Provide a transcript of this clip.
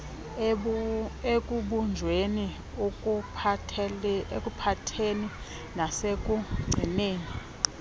ekubunjweni ekuphatheni nasekugcineni